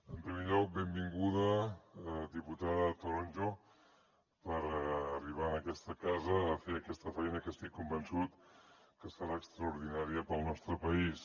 en primer lloc benvinguda diputada toronjo per arribar en aquesta casa a fer aquesta feina que estic convençut que serà extraordinària per al nostre país